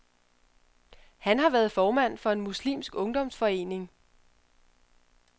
Han har været formand for en muslimsk ungdomsforening.